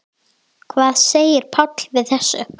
Hvað segir Páll við þessu?